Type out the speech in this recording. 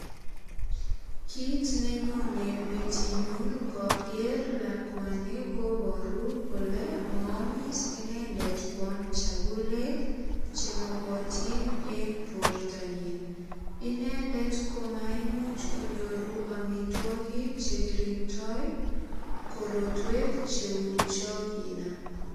Kit nenyone metinyun ngoger lakwanikobaru kole maamis inendet kwam chakulet che mogotin eng bortanyin. Inendet komaimuch konyoru amitwogik che kiringndoi korotwek cheu cho kinam.